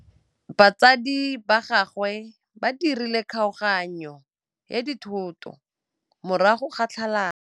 Batsadi ba gagwe ba dirile kgaoganyô ya dithoto morago ga tlhalanô.